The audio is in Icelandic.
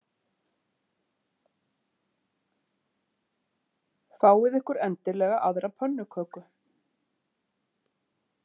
Fáið ykkur endilega aðra pönnuköku.